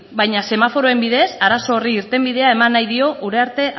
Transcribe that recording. baina semaforoen bidez arazo horri irtenbidea eman nahi dio uriarte